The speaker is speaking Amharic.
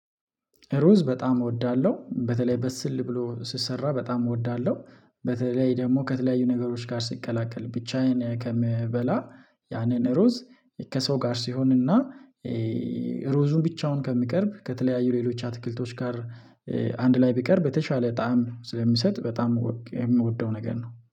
ሩዝ በጣም እወዳለሁ በተለይ ብስል ብሎ ሲሰራ በጣም እወዳለሁ። በተለይ ደግሞ ከተለያዩ ነገሮች ጋር ሲቀላቀል ብቻዬን ከምበላ ያንን ሩዝ ከሰው ጋር ሲሆንና። ሩዙን ብቻውን ከሚቀርብ ከተለያዩ ሌሎች አትክልቶች ጋር አንድ ላይ ቢቀርብ የተሻለ ጣዕም ስለሚሰጥ በጣም የምወደው ነገር ነው